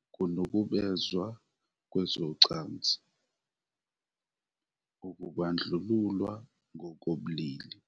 ukunukubezwa kwezocansi, ukubandlululwa ngokobulili